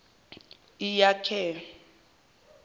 iakhe